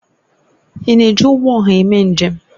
Ị na-eji ụgbọ ọha eme njem?